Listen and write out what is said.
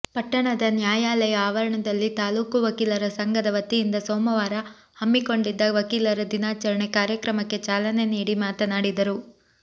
ಪಟ್ಟಣದ ನ್ಯಾಯಾಲಯ ಆವರಣದಲ್ಲಿ ತಾಲೂಕು ವಕೀಲರ ಸಂಘದ ವತಿಯಿಂದ ಸೋಮವಾರ ಹಮ್ಮಿಕೊಂಡಿದ್ದ ವಕೀಲರ ದಿನಾಚರಣೆ ಕಾರ್ಯಕ್ರಮಕ್ಕೆ ಚಾಲನೆ ನೀಡಿ ಮಾತನಾಡಿದರು